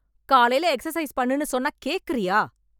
காலைல எக்சைஸ் பண்ணுன்னு சொன்னா கேக்குறியா